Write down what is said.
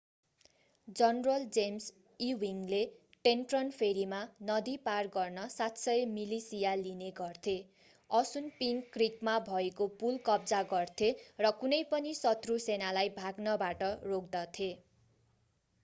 general James ईविङ्गले Trenton फेरीमा नदी पार गर्न 700 मिलिशिया लिने गर्थे असुनपिंक क्रिकमा भएको पुल कब्जा गर्थे र कुनै पनि शत्रू सेनालाई भाग्नबाट रोक्दथे